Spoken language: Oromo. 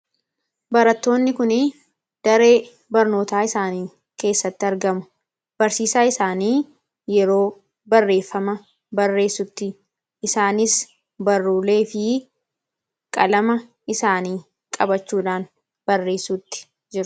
Barattoonni kun daree barnootaa isaanii keessatti argamu. barsiisaa isaanii yeroo barreeffama barreessutti isaanis barruulee fi qalama isaanii qabachuudhaan barreessutti jiru.